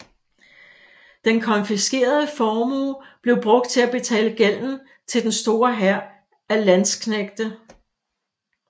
Den konfiskerede formue blev brugt til at betale gælden til den store hær af landsknægte